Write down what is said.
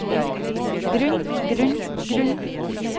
grunn grunn grunn